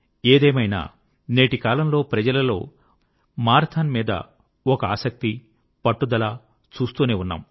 ఏదైమైనా నేటి కాలంలో ప్రజలలో మారథాన్ మీద ఒక ఆసక్తి పట్టుదల చూస్తూనే ఉన్నాము